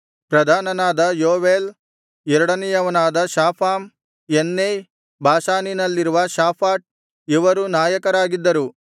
ಪ್ರಧಾನನಾದ Joel ಎರಡನೆಯವನಾದ Shapham Janai ಬಾಷಾನಿನಲ್ಲಿರುವ Shaphat ಇವರೂ ನಾಯಕರಾಗಿದ್ದರು